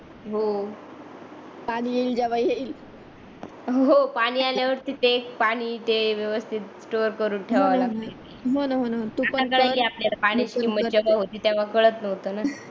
हो पाणी येईल जेव्हा येईल हो पाणी आल्यावरती ते पाणी ते व्यवस्तीत स्टोर करून ठेवायला पाहिजे होण होण होण तेव्हा कळत नव्हत न जाऊदे जाऊदे काय होत नाही